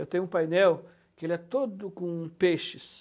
Eu tenho um painel que é todo com peixes.